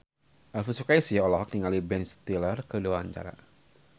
Elvy Sukaesih olohok ningali Ben Stiller keur diwawancara